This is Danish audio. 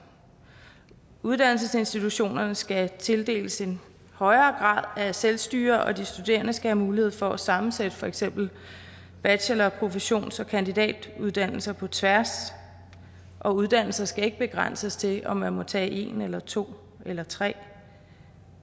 uddannelsesinstitutionerne skal tildeles en højere grad af selvstyre og de studerende skal have mulighed for at sammensætte for eksempel bachelor professions og kandidatuddannelser på tværs og uddannelser skal ikke begrænses til om man må tage en eller to eller tre